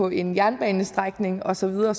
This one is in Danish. en jernbanestrækning og så videre